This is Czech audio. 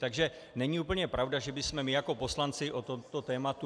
Takže není úplně pravda, že bychom my jako poslanci o tomto tématu...